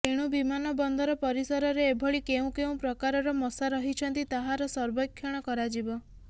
ତେଣୁ ବିମାନ ବନ୍ଦର ପରିସରରେ ଏଭଳି କେଉଁ କେଉଁ ପ୍ରକାରର ମଶା ରହିଛନ୍ତି ତାହାର ସର୍ବେକ୍ଷଣ କରାଯିବ